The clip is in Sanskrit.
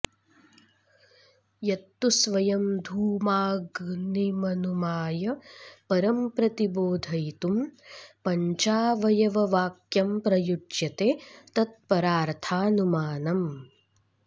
यत्तु स्वयं धूमाग्निमनुमाय परंप्रतिबोधयितुं पञ्चावयव वाक्यं प्रयुज्यते तत्परार्थानुमानम्